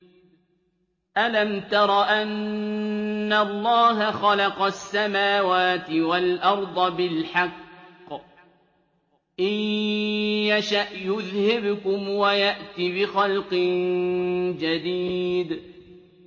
أَلَمْ تَرَ أَنَّ اللَّهَ خَلَقَ السَّمَاوَاتِ وَالْأَرْضَ بِالْحَقِّ ۚ إِن يَشَأْ يُذْهِبْكُمْ وَيَأْتِ بِخَلْقٍ جَدِيدٍ